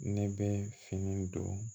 Ne bɛ fini don